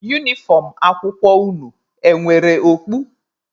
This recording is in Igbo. Unifọm akwụkwọ unu e nwere okpu?